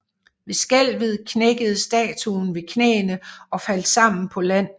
Ved skælvet knækkede statuen ved knæene og faldt sammen på land